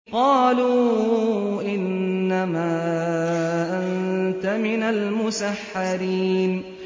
قَالُوا إِنَّمَا أَنتَ مِنَ الْمُسَحَّرِينَ